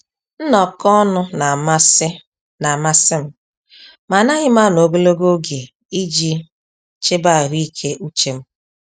Nnọkọ ọnụ n'amasị n'amasị m, ma anaghị m anọ ogologo oge iji chebe ahụike uche m.